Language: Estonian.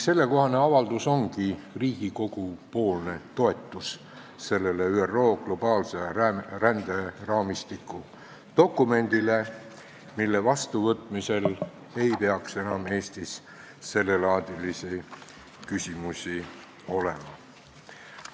See avaldus ongi Riigikogu-poolne toetus sellele ÜRO globaalse ränderaamistiku dokumendile, mille vastuvõtmisel ei peaks Eestis enam sellelaadilisi küsimusi olema.